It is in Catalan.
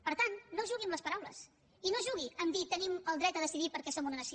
per tant no jugui amb les paraules i no jugui amb dir tenim el dret a decidir perquè som una nació